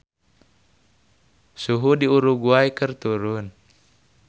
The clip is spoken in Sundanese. Suhu di Uruguay keur turun